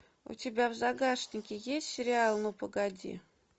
у тебя в загашнике есть сериал ну погоди